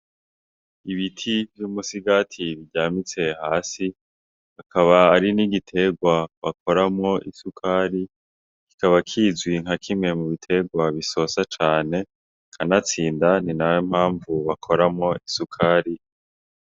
Ibiti vy'umusigati biryamitse hasi, akaba ari n'igitegwa bakoramwo isukari, kikaba kizwi nkakimwe mubitegwa bisosa cane, kanatsinda ninayo mpamvu bakoramwo isukari.